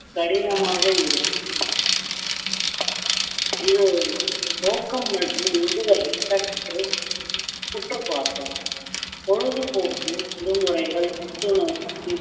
கடினமாக இருக்கும் இது ஒரு நோக்கம் மற்றும் உந்துதலை சற்று உற்றுப் பார்த்து பொழுதுபோக்கு விடுமுறைகள் புத்துணர்ச்சி